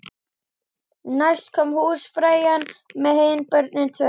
Næst kom húsfreyjan með hin börnin tvö.